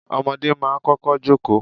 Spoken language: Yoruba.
Ọmọdé máa ń kọ́kọ́ jókòó.